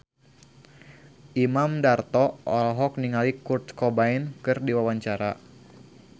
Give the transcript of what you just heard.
Imam Darto olohok ningali Kurt Cobain keur diwawancara